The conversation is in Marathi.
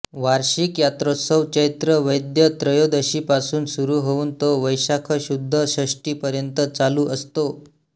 वार्षिक यात्रोत्सव चैत्र वैद्य त्रयोदशी पासून सुरू होऊन तो वैशाख शुद्ध षष्ठी पर्यंत चालू असतो